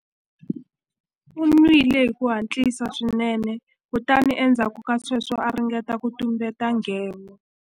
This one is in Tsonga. U nwile hi ku hatlisa swinene kutani endzhaku ka sweswo a ringeta ku tumbeta nghevo.